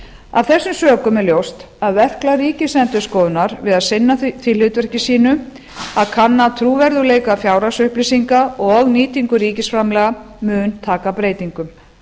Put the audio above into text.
af þessum sökum er ljóst að verklag ríkisendurskoðunar við að sinna því hlutverki sínu að kanna trúverðugleika fjárhagsupplýsinga og nýtingu ríkisframlaga mun taka breytingum